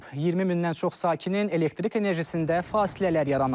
20 mindən çox sakinin elektrik enerjisində fasilələr yaranıb.